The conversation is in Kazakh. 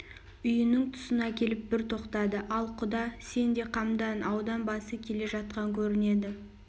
үйінің тұсына келіп бір тоқтады ал құда сен де қамдан аудан басы келе жатқан көрінеді